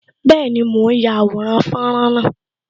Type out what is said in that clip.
Bẹẹni, mo ń ya àwòrán fọ́nrán náà